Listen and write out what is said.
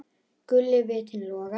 Guli vitinn logar.